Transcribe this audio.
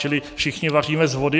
Čili všichni vaříme z vody.